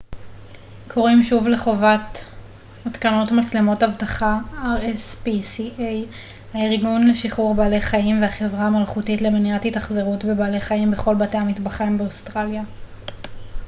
הארגון לשחרור בעלי החיים והחברה המלכותית למניעת התאכזרות בבעלי חיים rspca קוראים שוב לחובת התקנת מצלמות אבטחה בכל בתי המטבחיים באוסטרליה